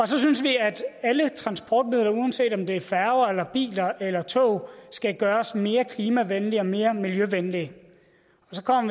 så synes vi at alle transportmidler uanset om det er færger eller biler eller tog skal gøres mere klimavenlige og mere miljøvenlige